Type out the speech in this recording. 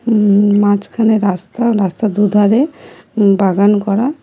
উম মাঝখানের রাস্তা ও রাস্তার দুধারে উম বাগান করা।